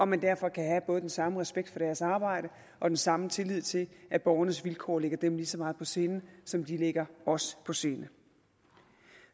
man derfor kan have både den samme respekt for deres arbejde og den samme tillid til at borgernes vilkår ligger dem lige så meget på sinde som de ligger os på sinde